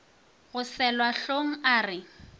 yo selwa hlong a re